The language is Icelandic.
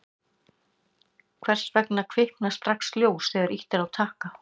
hvers vegna kviknar strax ljós þegar ýtt er á takka